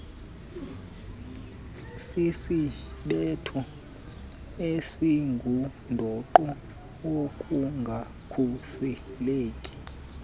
sisisibetho esingundoqo wokungakhuseleki